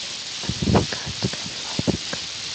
американская фабрика